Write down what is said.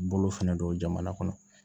Bolo fɛnɛ don jamana kɔnɔ